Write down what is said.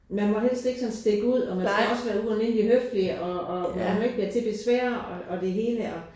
Man må helst ikke sådan stikke ud og man skal også være ualmindelig høflig og og man må ikke være til besvær og det hele og